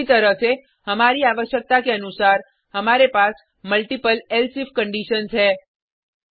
इसी तरह से हमारी आवश्यकता के अनुसार हमारे पास मल्टिपल एलसिफ कंडिशन्स है